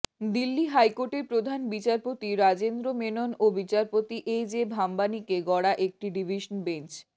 দিল্লি হাইকোর্টের প্রধান বিচারপতি রাজেন্দ্র মেনন ও বিচারপতি এ জে ভাম্বানিকে গড়া একটি ডিভিশন বেঞ্চ